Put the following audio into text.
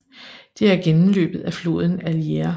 Det er gennemløbet af floden Allier